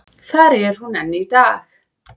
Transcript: Þar er hún enn í dag.